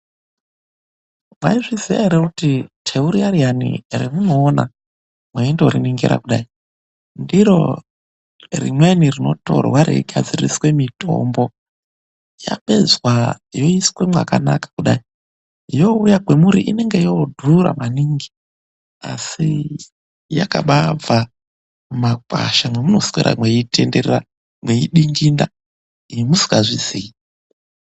Mwaiziya ere kuti teu riya riya remunoona mweindoriningira kudai, ndiro rimweni rinotorwa rigadziriswe mitombo. Yapedzwa yoiswe mwakanaka kudai. Yoouya kwemuri inenge yoodhura maningi, asi yakabaabva mumakwasha mwemunoswera mweitenderera, mweidinginda imwi musikazviziyi.